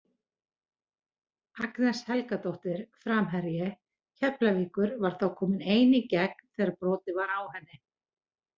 Agnes Helgadóttir framherji Keflavíkur var þá komin ein í gegn þegar brotið var á henni.